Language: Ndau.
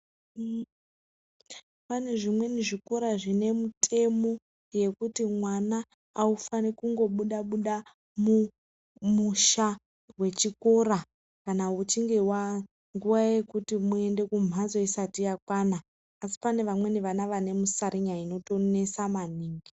Pane zvimweni zvikora zvine mitemo yekuti mwana aufani kungobuda Buda mumusha wechikora kana nguwa yekuti muende kumbatso isati yakwana asi pane vana vanenge vane musarinya unonetsa maningi.